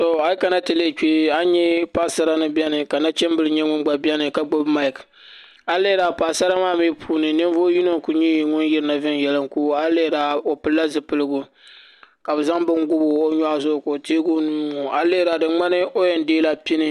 A yi kana ti lihi kpɛ a ni nyɛ paɣasara ni biɛni ka nachimbili nyɛ ŋun gba biɛni ka gbubi maik a yi lihira paɣasara maa mii puuni ninvuɣu yino n ku nyɛ ŋun yirina viɛnyɛlinga a yi lihira o pilila zipiligu ka bi zaŋ bin bob o nyoɣu zuɣu ka o teegi o nuu n ŋo a yi lihira di ŋmanila o yɛn deeila pini